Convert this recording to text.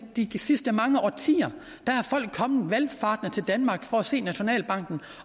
de sidste mange årtier er folk kommet valfartende til danmark for at se nationalbanken